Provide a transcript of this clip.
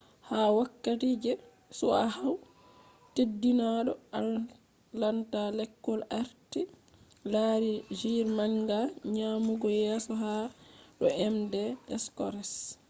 ha wokkati je chyahu teddinado atlanta lekol arti lari jr manga nyamugo yeso ha do emde scores